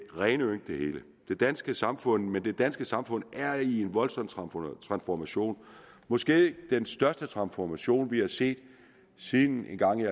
rene ynk det hele i det danske samfund men det danske samfund er i en voldsom transformation måske den største transformation vi har set siden engang i